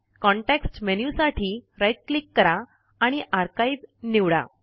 context menu साठी right click करा आणि आर्काइव निवडा